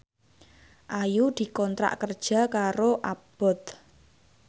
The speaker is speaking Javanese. Ayu dikontrak kerja karo Abboth